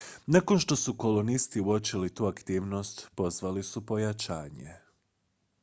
nakon što su kolonisti uočili tu aktivnost pozvali su pojačanje